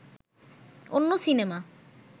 অন্য সিনেমা